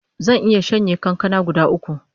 Zan iya shanye kankana guda uku